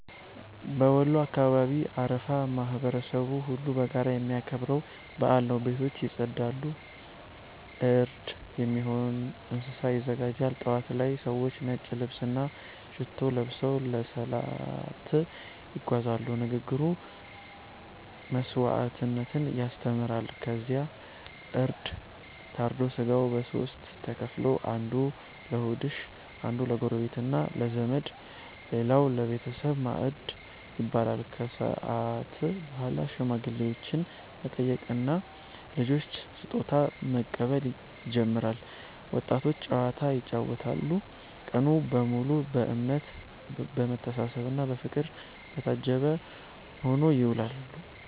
በወሎ አካባቢ አረፋ ማህበረሰቡ ሁሉ በጋራ የሚያከብረው በዓል ነው። ቤቶች ይጸዳሉ፣ እርድ የሚሆን እንስሳ ይዘጋጃል። ጠዋት ላይ ሰዎች ነጭ ልብስና ሽቶ ለብሰው ለሰላት ይጓዛሉ፤ ንግግሩ መስዋዕትነትን ያስተምራል። ከዚያ እርድ ታርዶ ሥጋው ለሦስት ተከፍሎ፦ አንዱ ለድሆች፣ አንዱ ለጎረቤትና ለዘመድ፣ ሌላው ለቤተሰብ ማዕድ ይበላል። ከሰዓት በኋላ ሽማግሌዎችን መጠየቅና ልጆች ስጦታ መቀበል ይጀምራል፤ ወጣቶች ጨዋታ ይጫወታሉ። ቀኑ በሙሉ በእምነት፣ በመተሳሰብና በፍቅር የታጀበ ሆኖ ይውላል።